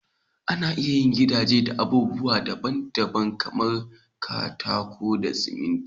Ana iya yin gidaje da abubuwa daban-daban kamar katako ko siminti